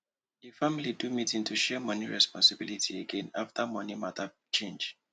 di family do meeting to share money responsibilities again after money matter change